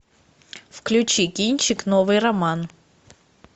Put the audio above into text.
включи кинчик новый роман